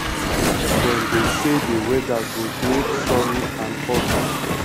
dem dey say di weather go dey sunny and hot